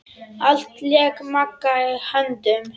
Allt lék Magga í höndum.